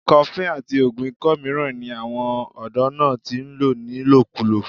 cuffling àti oògùn ikọ́ mìíràn ni àwọn ọ̀dọ́ náà ti lò ni lòkúlò